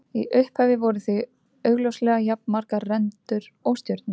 Í upphafi voru því augljóslega jafnmargar rendur og stjörnur.